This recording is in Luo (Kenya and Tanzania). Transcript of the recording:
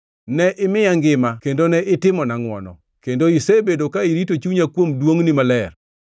Ne imiya ngima kendo ne itimona ngʼwono, kendo isebedo ka irito chunya kuom duongʼni maler.